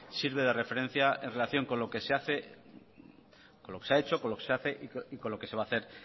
sirve de referencia en relación con lo que se ha hecho con lo que se hace y con lo que se va a hacer